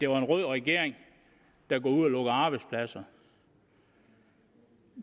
var en rød regering der går ud og lukker arbejdspladser